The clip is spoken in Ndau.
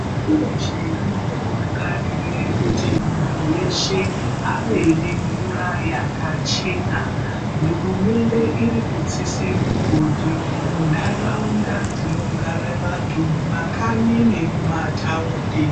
Pashi reshe rinokarire kuti muntu veshe ave nemvura yakachena. Hurumende iri kudzise mugodhi ntaraunda dzinogara vantu mumakanyi nemumataundi.